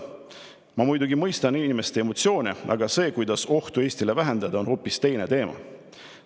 Ma muidugi mõistan inimeste emotsioone Aga see, kuidas ohtu Eestile vähendada, on hoopis teine teema.